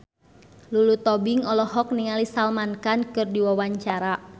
Lulu Tobing olohok ningali Salman Khan keur diwawancara